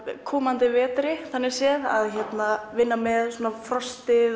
komandi vetri þannig séð að vinna með frostið